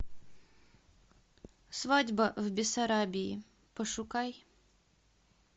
свадьба в бессарабии пошукай